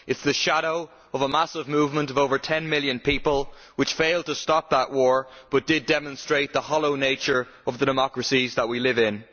It is the shadow of a massive movement of over 10 million people, which failed to stop that war but did demonstrate the hollow nature of the democracies that we live in.